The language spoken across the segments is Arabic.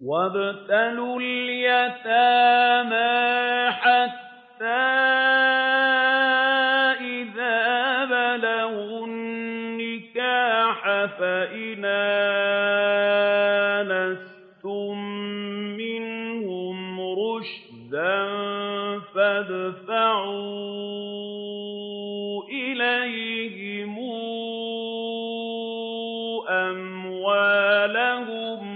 وَابْتَلُوا الْيَتَامَىٰ حَتَّىٰ إِذَا بَلَغُوا النِّكَاحَ فَإِنْ آنَسْتُم مِّنْهُمْ رُشْدًا فَادْفَعُوا إِلَيْهِمْ أَمْوَالَهُمْ ۖ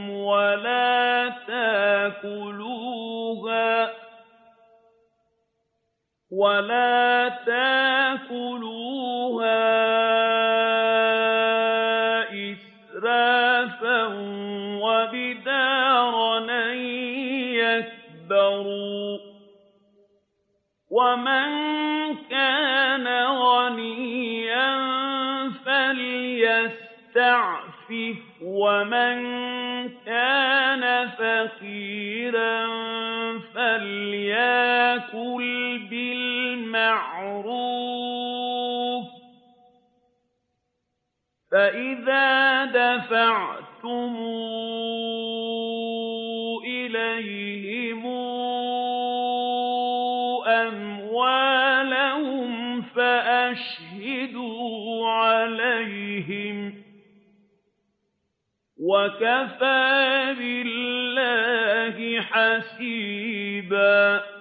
وَلَا تَأْكُلُوهَا إِسْرَافًا وَبِدَارًا أَن يَكْبَرُوا ۚ وَمَن كَانَ غَنِيًّا فَلْيَسْتَعْفِفْ ۖ وَمَن كَانَ فَقِيرًا فَلْيَأْكُلْ بِالْمَعْرُوفِ ۚ فَإِذَا دَفَعْتُمْ إِلَيْهِمْ أَمْوَالَهُمْ فَأَشْهِدُوا عَلَيْهِمْ ۚ وَكَفَىٰ بِاللَّهِ حَسِيبًا